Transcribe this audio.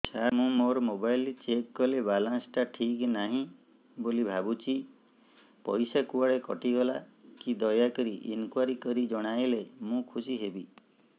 ସାର ମୁଁ ମୋର mobile check କଲି ବାଲାନ୍ସ ଟା ଠିକ ନାହିଁ ବୋଲି ଭାବୁଛି ପଇସା କୁଆଡେ କଟି ଗଲା କି ଦୟାକରି ଇନକ୍ୱାରି କରି ଜଣାଇଲେ ମୁଁ ଖୁସି ହେବି